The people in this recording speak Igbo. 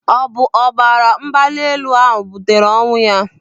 Ọ bụ ọbara mgbali elu ahụ butere ọnwụ ya?